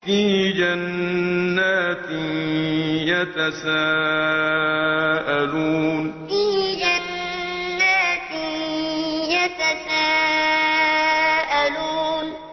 فِي جَنَّاتٍ يَتَسَاءَلُونَ فِي جَنَّاتٍ يَتَسَاءَلُونَ